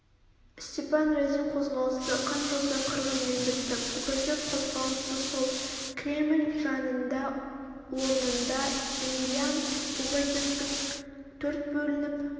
степан разин қозғалысы қан жоса қырғынмен бітті пугачев қозғалысы сол кремль жанында орнында емельян пугачевтің төрт бөлініп